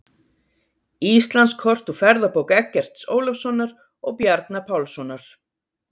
Íslandskort úr ferðabók Eggerts Ólafssonar og Bjarna Pálssonar.